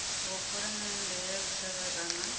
wa phalamennde ya lushaka kana